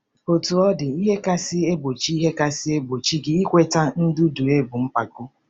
Otú ọ dị, ihe kasị egbochi ihe kasị egbochi gị ikweta ndudue bụ mpako.